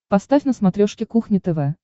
поставь на смотрешке кухня тв